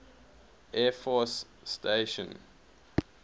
air force station